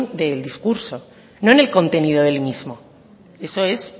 del discurso no en el contenido del mismo eso es